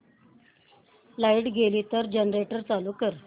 light गेली तर generator चालू कर